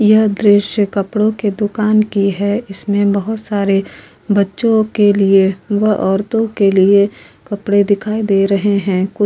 यह दॄश्य कपडो के दुकान की है इसमें बहुत सारे बच्चों के लिए व औरतों के लिए कपडे दिखाई दे रहे हैं। कु --